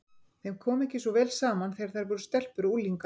Þeim kom ekki svo vel saman þegar þær voru stelpur og unglingar.